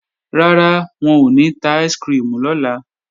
Rárá, wọn ò ní ta áìsikirimù lọ́la